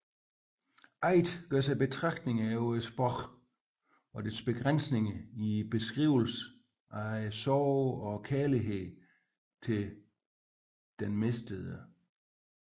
Aidt gør sig betragtninger over sprogets begrænsninger i beskrivelsen af sorgen og kærligheden til den mistede